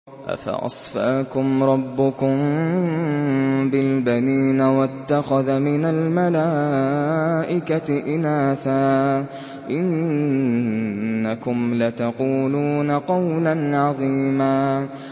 أَفَأَصْفَاكُمْ رَبُّكُم بِالْبَنِينَ وَاتَّخَذَ مِنَ الْمَلَائِكَةِ إِنَاثًا ۚ إِنَّكُمْ لَتَقُولُونَ قَوْلًا عَظِيمًا